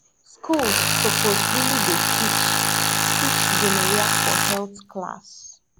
schools suppose really dey teach teach gonorrhea for health class